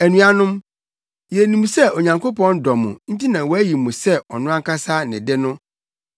Anuanom, yenim sɛ Onyankopɔn dɔ mo nti na wayi mo sɛ ɔno ankasa ne de no.